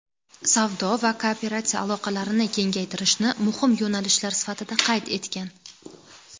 savdo va kooperatsiya aloqalarini kengaytirishni muhim yo‘nalishlar sifatida qayd etgan.